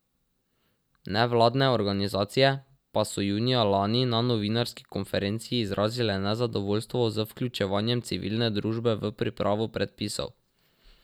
Nevladne organizacije pa so junija lani na novinarski konferenci izrazile nezadovoljstvo z vključevanjem civilne družbe v pripravo predpisov.